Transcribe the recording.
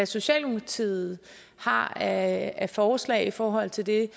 socialdemokratiet har af af forslag i forhold til det jeg